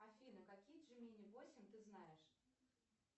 афина какие джимини восемь ты знаешь